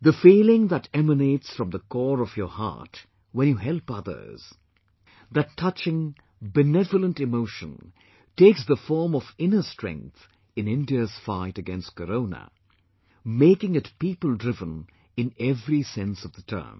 The feeling that emanates from the core of your heart when you help others , that touching, benevolent emotion takes the form of inner strength in India's fight against Corona, making it people driven in every sense of the term